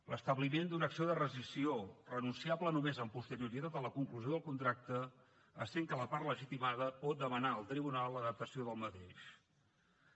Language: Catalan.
l’establiment d’una acció de rescissió renunciable només amb posterioritat a la conclusió del contracte essent que la part legitimada pot demanar al tribunal l’adaptació d’aquest contracte